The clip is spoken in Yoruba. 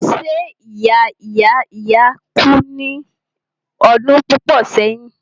ṣé ìya ìya ìya kú ní ọdún púpọ̀ sẹ́yìn?